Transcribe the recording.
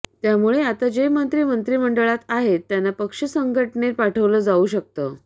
त्यामुळे आता जे मंत्री मंत्रिमंडळात आहेत त्यांना पक्षसंघटनेत पाठवलं जाऊ शकतं